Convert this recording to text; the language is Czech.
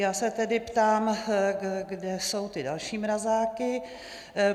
Já se tedy ptám, kde jsou ty další mrazáky.